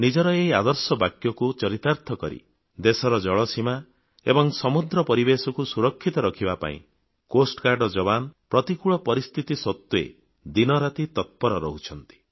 ନିଜର ଏହି ଆଦର୍ଶ ବାକ୍ୟକୁ ଚରିତାର୍ଥ କରି ଦେଶର ଜଳସୀମା ଏବଂ ସମୁଦ୍ର ପରିବେଶକୁ ସୁରକ୍ଷିତ କରିବା ପାଇଁ ତଟରକ୍ଷୀ ବାହିନୀର ଯବାନ ପ୍ରତିକୂଳ ପରିସ୍ଥିତି ସତ୍ତ୍ୱେ ଦିନ ରାତି ତତ୍ପର ରହୁଛନ୍ତି